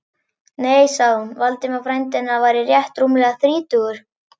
Nei, sagði hún, Valdimar, frændi hennar, væri rétt rúmlega þrítugur.